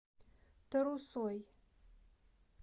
тарусой